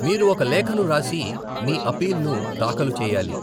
మీరు ఒక లేఖను వ్రాసి మీ అప్పీల్ను దాఖలు చేయాలి.